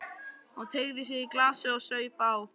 Hún teygði sig í glasið og saup á.